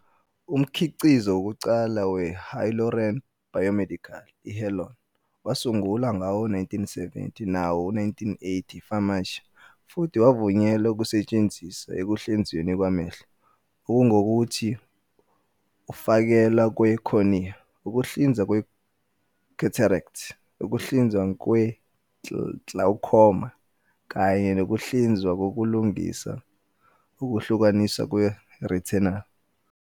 Umkhiqizo wokuqala we-hyaluronan biomedical, i-Healon, wasungulwa ngawo-1970 nawo-1980 yi-Pharmacia, futhi wavunyelwa ukusetshenziswa ekuhlinzweni kwamehlo, okungukuthi, ukufakelwa kwe-cornea, ukuhlinzwa kwe-cataract, ukuhlinziwa kwe-glaucoma, kanye nokuhlinzwa kokulungisa ukuhlukaniswa kwe-retinal.